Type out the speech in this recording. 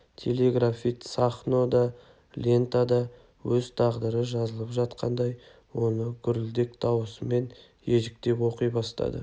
телеграфист сахно да лентада өз тағдыры жазылып жатқандай оны гүрілдек дауысымен ежіктеп оқи бастады